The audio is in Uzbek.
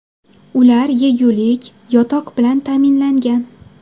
Ular yegulik, yotoq bilan ta’minlangan.